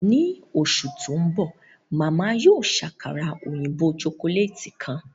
Ni oṣu ti nbọ, Màmá yóò ṣe àkàrà oyinbo chocolate kan.